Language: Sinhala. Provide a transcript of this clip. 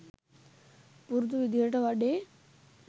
පුරුදු විදිහට වැඩේ